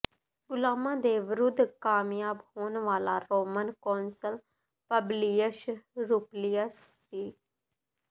ਗੁਲਾਮਾਂ ਦੇ ਵਿਰੁੱਧ ਕਾਮਯਾਬ ਹੋਣ ਵਾਲਾ ਰੋਮਨ ਕੌਂਸਲ ਪਬਲਿਯਸ ਰੁਪਲੀਅਸ ਸੀ